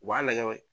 U b'a lajɛ